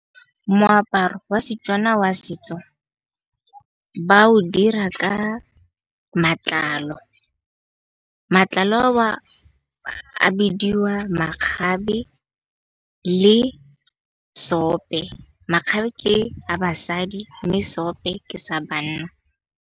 Moaparo wa setswana wa setso ba o dira ka matlalo. Matlalo a o a bidiwa makgabe le sope. Makgabe ke a basadi mme sope ke sa banna.